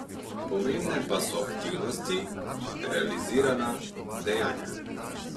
Pomembne pa so aktivnosti, realizirana dejanja.